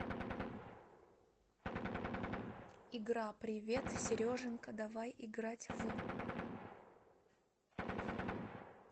игра привет сереженька давай играть в